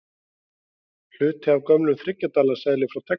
Hluti af gömlum þriggja dala seðli frá Texas.